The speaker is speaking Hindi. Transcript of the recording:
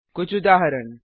कुछ उदाहरण